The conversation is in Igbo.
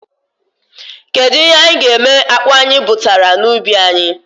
Kedụ ihe anyị ga-eme akpụ anyị butara na ubi anyị?